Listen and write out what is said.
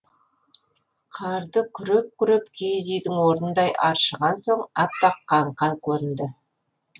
қарды күреп күреп киіз үйдің орнындай аршыған соң аппақ қаңқа көрінді